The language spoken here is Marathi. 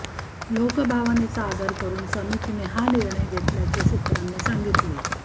लोकभावनेचा आदर करून समितीने हा निर्णय घेतल्याचे सूत्रांनी सांगितले